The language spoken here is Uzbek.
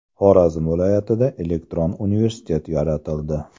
Xorazm viloyatida elektron universitet yaratildi.